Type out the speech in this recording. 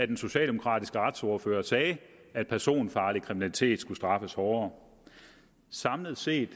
den socialdemokratiske retsordfører sagde at personfarlig kriminalitet skulle straffes hårdere samlet set